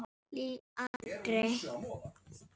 Lýg aldrei.